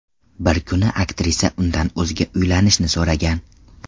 Bir kuni aktrisa undan o‘ziga uylanishni so‘ragan.